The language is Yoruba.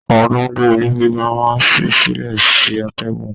Àwọn tó n gbé ilé gíga máa n sí sílẹ sí atẹgun.